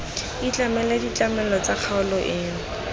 ikobele ditlamelo tsa kgaolo eno